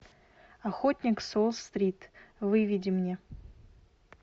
охотник с уолл стрит выведи мне